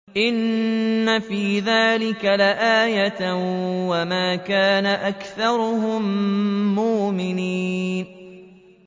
إِنَّ فِي ذَٰلِكَ لَآيَةً ۖ وَمَا كَانَ أَكْثَرُهُم مُّؤْمِنِينَ